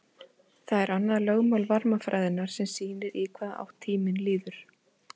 Það er annað lögmál varmafræðinnar sem sýnir í hvaða átt tíminn líður.